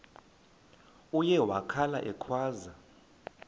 uye wakhala ekhwaza